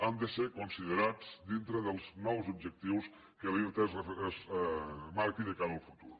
han de ser considerats dintre dels nous objectius que l’irta es marqui de cara al futur